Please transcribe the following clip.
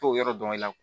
T'o yɔrɔ dɔn i la